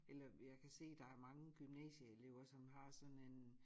Eller jeg kan se der er mange gymnasielever som har sådan en